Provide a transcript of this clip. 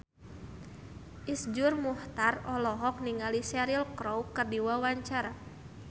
Iszur Muchtar olohok ningali Cheryl Crow keur diwawancara